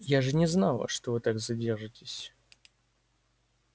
я же не знала что вы так задержитесь